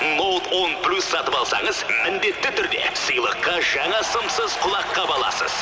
ноут он плюс сатып алсаңыз міндетті түрде сыйлыққа жаңа сымсыз құлаққап аласыз